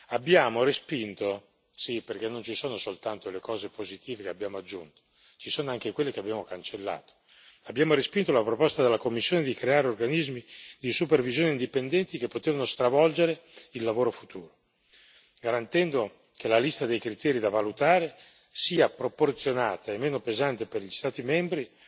Abbiamo respinto sì, perché non ci sono soltanto le cose positive che abbiamo aggiunto, ci sono anche quelle che abbiamo cancellato la proposta della Commissione di creare organismi di supervisione indipendenti che potevano stravolgere il lavoro futuro, garantendo che la lista dei criteri da valutare sia proporzionata e meno pesante per gli Stati membri,